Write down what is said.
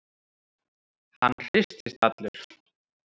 Hann hristist allur.